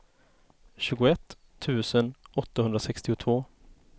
tjugoett tusen åttahundrasextiotvå